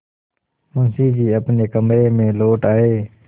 मुंशी जी अपने कमरे में लौट आये